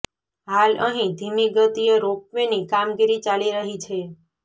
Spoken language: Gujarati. હાલ અહીં ધીમી ગતીએ રોપવેની કામગીરી ચાલી રહી છે